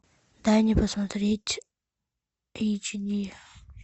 дай мне посмотреть эйч ди